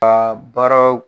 Ka baara